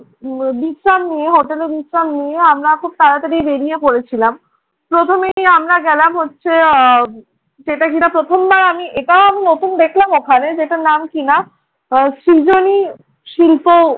বিশ্রাম নিয়ে হোটেলে বিশ্রাম নিয়ে আমরা খুব তাড়াতাড়ি বেড়িয়ে পড়েছিলাম। প্রথমে আমরা গেলাম হচ্ছে আহ সেটা যেটা প্রথমবার আমি এটাও আমি নতুন দেখলাম ওখানে যেটার নাম কিনা সৃজনী শিল্প